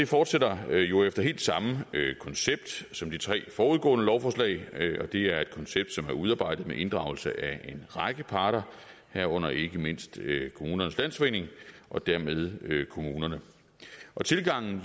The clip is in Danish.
fortsætter jo efter helt samme koncept som de tre forudgående lovforslag og det er et koncept som er udarbejdet med inddragelse af en række parter herunder ikke mindst kommunernes landsforening og dermed kommunerne tilgangen